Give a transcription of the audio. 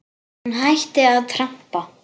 Hún hætti að trampa.